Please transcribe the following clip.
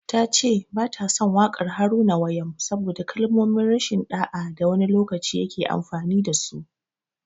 Ta ce ba ta son waƙar Haruna Wayam saboda kalmomin rashin ɗa'a da wani lokaci ya ke amfani da su.